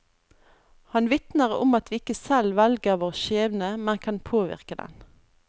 Han vitner om at vi ikke selv velger vår skjebne, men kan påvirke den.